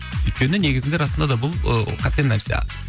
өйткені негізінде расында да бұл ы қате нәрсе